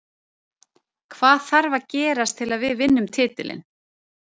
Hvað þarf að gerast til að við vinnum titilinn?